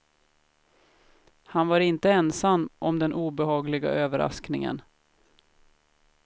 Han var inte ensam om den obehagliga överraskningen.